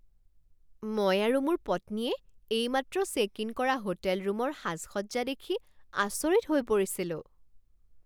মই আৰু মোৰ পত্নীয়ে এইমাত্ৰ চেক ইন কৰা হোটেল ৰূমৰ সাজসজ্জা দেখি আচৰিত হৈ পৰিছিলো।